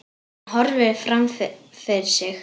Hann horfir fram fyrir sig.